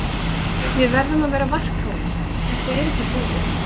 Við verðum að vera varkárir, þetta er ekki búið.